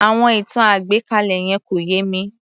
Àwọn ìtàn àgbékalẹ̀ yẹn kò yé mi